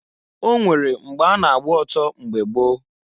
O nwere mgbe a na-agba oto mgbe gboo.